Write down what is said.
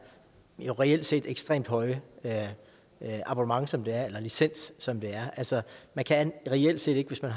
jo reelt set ekstremt høje abonnement som det er eller licens som det er altså man kan reelt set ikke hvis man